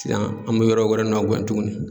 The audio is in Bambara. Yan an bɛ yɔrɔ wɛrɛ nɔ guɛn tugunni.